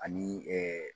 Ani